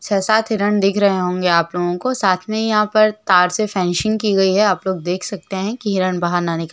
छे सात हिरन दिख रहे होंगे आप लोगो को साथ में यहां पर तार से फेंसिंग की गई है आप लोग देख सकते है की हिरन बाहर न निकल--